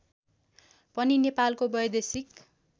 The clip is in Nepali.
पनि नेपालको वैदेशिक